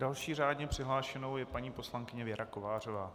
Další řádně přihlášenou je paní poslankyně Věra Kovářová.